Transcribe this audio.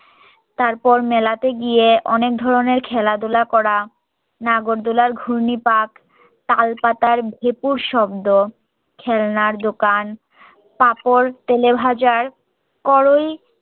তারপর মেলাতে গিয়ে অনেক ধরণের খেলাধুলা করা নাগর দলের ঘূর্ণি পাক তালপাতার ভেঁপুর শব্দ খেলনার দোকান পাঁপড় তেলেভাজার কড়াই